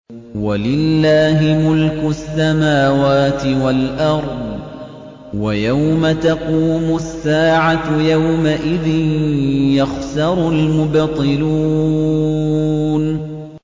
وَلِلَّهِ مُلْكُ السَّمَاوَاتِ وَالْأَرْضِ ۚ وَيَوْمَ تَقُومُ السَّاعَةُ يَوْمَئِذٍ يَخْسَرُ الْمُبْطِلُونَ